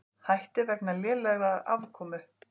Hætti vegna lélegrar afkomu